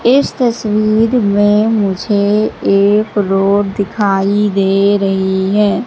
इस तस्वीर में मुझे एक रोड दिखाई दे रही हैं।